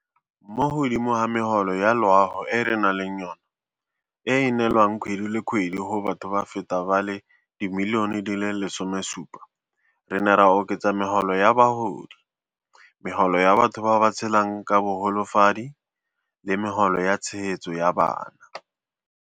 Mo godimo ga megolo ya loago e re nang le yona, e e neelwang kgwedi le kgwedi go batho ba feta ba le 17 milione, re ne ra oketsa Megolo ya Bagodi, Megolo ya batho ba ba Tshelang ka Bogolofadi le Megolo ya Tshegetso ya Bana.